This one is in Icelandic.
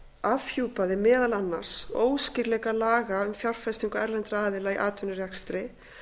afhjúpaði meðal annars óskýrleika laga um fjárfestingu erlendra aðila í atvinnurekstri